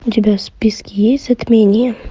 у тебя в списке есть затмение